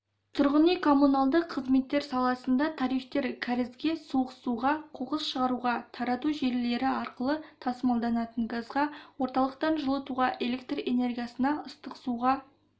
тұрғын үй-коммуналды қызметтер саласында тарифтер кәрізге суық суға қоқыс шығаруға тарату желілері арқылы тасымалданатын газға орталықтан жылытуға электр энергиясына ыстық суға